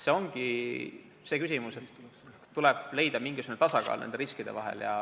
See ongi küsimus, kuidas leida mingisugune tasakaal nende riskide vahel.